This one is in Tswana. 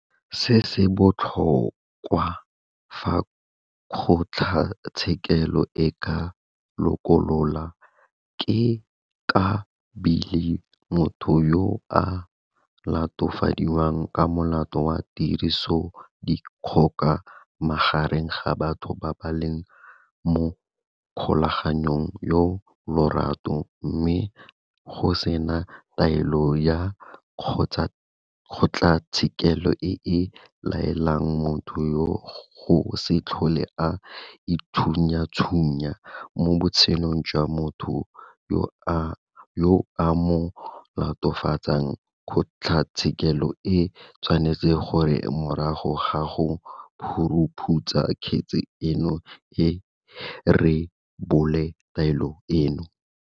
Se se botlhokwa, fa kgotlatshekelo e ka lokolola ka beile motho yo a latofadiwang ka molato wa tirisodikgoka magareng ga batho ba ba leng mo kgolaganong ya lorato mme go sena taelo ya kgotlatshekelo e e laelang motho yoo go se tlhole a itshunyatshunya mo botshelong jwa motho yo a mo latofatsang, kgotlatshekelo e tshwanetse gore morago ga go phuruphutsa kgetse eno e rebole taelo eno.